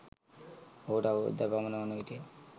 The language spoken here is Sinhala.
ඔහුට අවුරුදක් පමණ වන විටය.